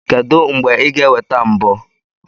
Kedu mgbe ị ga-eweta mbọ?